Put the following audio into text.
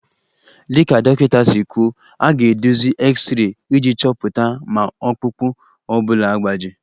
Dịka dọkịta si kwuo, a ga-eduzi x-ray iji chọpụta ma ọkpụkpụ ọ bụla agbaji